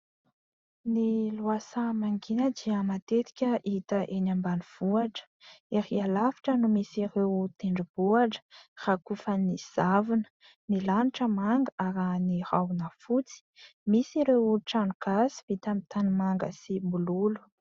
Ny lohasaha mangina dia matetika hita eny ambanivohitra. Erỳ alavitra no misy ireo tendrombohitra rakofan'ny zavona, ny lanitra manga arahina rahona fotsy, misy ireo trano gasy vita amin'ny tanimanga sy mololo.